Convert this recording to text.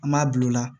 An b'a bila o la